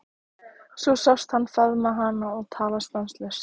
Svo sást hann faðma hana og tala stanslaust.